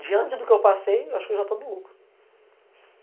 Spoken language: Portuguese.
Diante do que eu passei, eu acho que eu já estou no lucro.